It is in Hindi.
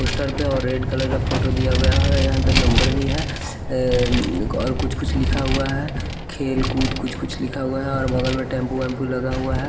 पोस्टर पे और रेड कलर का फोटो दिया हुआ है यहाँ पर नंबर भी है और कुछ कुछ लिखा हुआ है खेलकूद कुछ कुछ लिखा हुआ है और बगल में टेंपू लगा हुआ है।